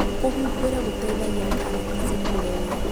Kũhumbĩra gũteithagia karati cikũre wega,